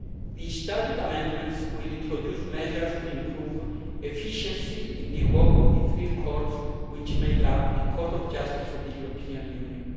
The Statute amendments will introduce measures to improve efficiency in the work of the three courts which make up the Court of Justice of the European Union.